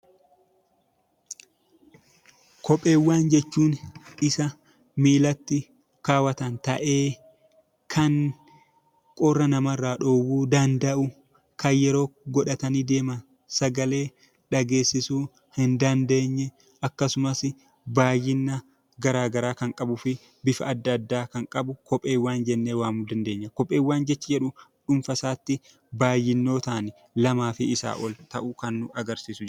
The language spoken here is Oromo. Kopheewwan jechuun isa miillatti kaawwatan ta'ee, kan qorra nama irraa dhowwuu danda'u, kan yeroo godhatanii deeman sagalee dhageessisuu hin dandeenye, akkasumas baay'ina gara garaa kan qabuu fi bifa adda addaa kan qabu 'Kopheewwan' jennee waamuu dandeenya. Kopheewwan jechi jedhu dhuunfaa isaatti baay'inootaan, lamaa fi isaa ol ta'uu kan nu agarsiisu.